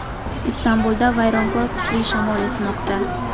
Istanbulda vayronkor kuchli shamol esmoqda.